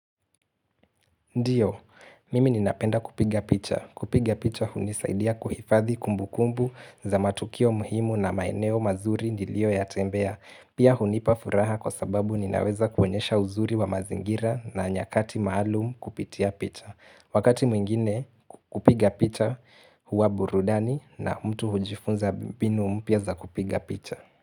Ndiyo, mimi ninapenda kupiga picha. Kupiga picha hunisaidia kuhifadhi kumbu kumbu za matukio muhimu na maeneo mazuri njilio ya tembea. Pia hunipa furaha kwa sababu ninaweza kuonyesha uzuri wa mazingira na nyakati maalum kupitia picha. Wakati mwingine kupiga picha huwa burudani na mtu hujifunza mbinu mpya za kupiga picha.